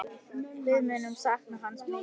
Við munum sakna hans mikið.